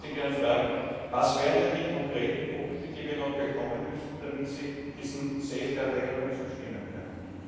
Deshalb würde ich Sie gerne fragen Was wären denn die konkreten Punkte, die wir noch bekommen müssten, damit Sie diesen Safeguard Regelungen zustimmen könnten?